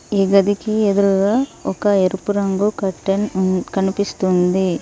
ఈ గదికి ఎదురుగా ఒక ఎరుపు రంగు కర్టెన్ హ్మ్మ్ కనిపిస్తుంది.